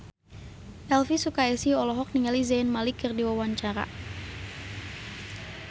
Elvy Sukaesih olohok ningali Zayn Malik keur diwawancara